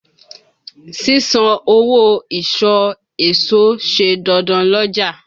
Sísan owó ìsọ̀ èso ṣe dandan l'ọ́ja.